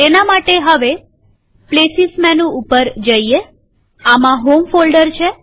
તેના માટે હવે પ્લેસીસ મેનુ ઉપર જઈએઆમાં હોમ ફોલ્ડર છે